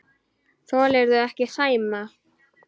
Þolirðu ekki Sæma?